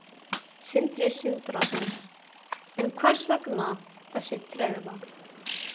Sindri Sindrason: En hvers vegna þessi tregða?